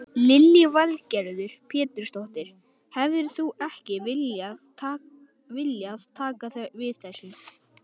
Lillý Valgerður Pétursdóttir: Hefðir þú ekki viljað taka við þessu?